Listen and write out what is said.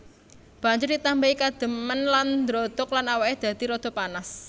Banjur ditambahi kadhemen lan ndrodhok lan awake dadi rada panas